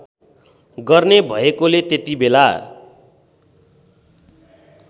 गर्ने भएकोले त्यतिबेला